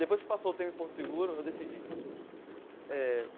Depois que passou o tempo de Porto Seguro, eu decidi eh.